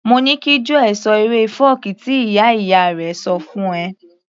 Mo ní kí Joel ṣọ eré fọ́ọ̀kí tí ìyá ìyá rẹ̀ ṣọ fún -un fún ẹ